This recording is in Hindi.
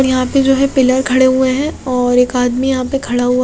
और यहां पे जो है पिलर खड़े हुए हैं और एक आदमी यहां पर खड़ा हुआ--